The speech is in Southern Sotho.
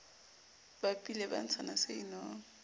bapile ba ntshana se inong